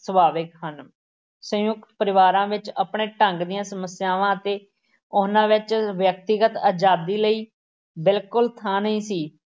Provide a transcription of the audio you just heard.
ਸੁਭਾਵਿਕ ਹਨ। ਸੰਯੁਕਤ ਪਰਿਵਾਰਾਂ ਵਿੱਚ ਆਪਣੇ ਢੰਗ ਦੀਆਂ ਸਮੱਸਿਆਵਾਂ ਅਤੇ ਉਹਨਾਂ ਵਿੱਚ ਵਿਅਕਤੀਗਤ ਅਜ਼ਾਦੀ ਲਈ ਬਿਲਕੁਲ ਥਾਂ ਨਹੀਂ ਸੀ।